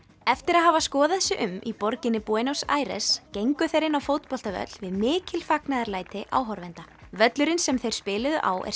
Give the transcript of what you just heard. eftir að hafa skoðað sig um í borginni Buenos Aires gengu þeir inn á fótboltavöll við mikil fagnaðarlæti áhorfenda völlurinn sem þeir spiluðu á er